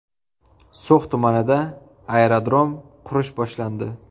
So‘x tumanida aerodrom qurish boshlandi.